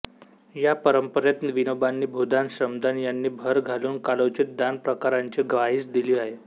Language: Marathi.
या परंपरेत विनोबांनी भूदान श्रमदान याची भर घालून कालोचित दान प्रकारांची ग्वाहीच दिली आहे